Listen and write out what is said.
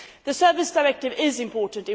The Services Directive is important.